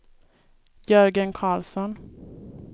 Jörgen Carlsson